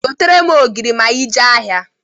Gotere m ogiri ma i jee ahịa!